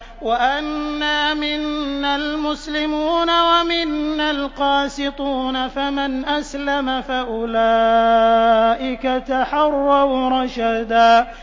وَأَنَّا مِنَّا الْمُسْلِمُونَ وَمِنَّا الْقَاسِطُونَ ۖ فَمَنْ أَسْلَمَ فَأُولَٰئِكَ تَحَرَّوْا رَشَدًا